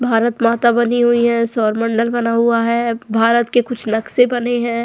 भारत माता बनी हुई है सौरमंडल बना हुआ है भारत के कुछ नक्शे बने हैं।